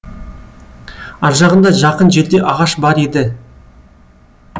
аржағында жақын жерде ағаш бар еді